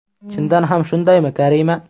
– Chindan ham shundaymi, Karima?